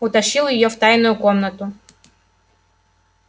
утащил её в тайную комнату